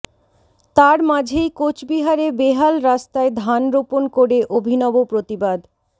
তার মাঝেই কোচবিহারে বেহাল রাস্তায় ধান রোপণ করে অভিনব প্রতিবাদ